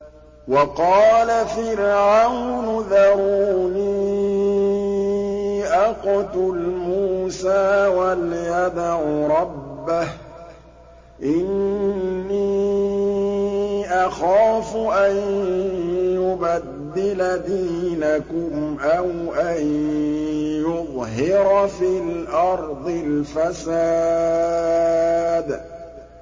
وَقَالَ فِرْعَوْنُ ذَرُونِي أَقْتُلْ مُوسَىٰ وَلْيَدْعُ رَبَّهُ ۖ إِنِّي أَخَافُ أَن يُبَدِّلَ دِينَكُمْ أَوْ أَن يُظْهِرَ فِي الْأَرْضِ الْفَسَادَ